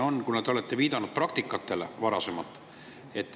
Te olete viidanud varasemale praktikale.